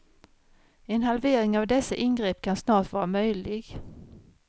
En halvering av dessa ingrepp kan snart vara möjlig.